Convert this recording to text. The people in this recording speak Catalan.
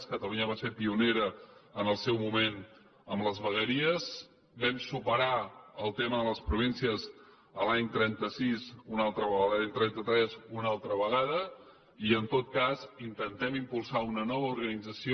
catalunya va ser pionera en el seu moment amb les vegueries vam superar el tema de les províncies l’any trenta sis una altra vegada l’any trenta tres una altra vegada i en tot cas intentem impulsar una nova organització